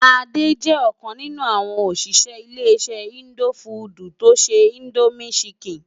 Ade jè okàn ninú áwòn óṣiṣẹ ile-iṣẹ indófúdú tó nṣé Indómi ṣìkín.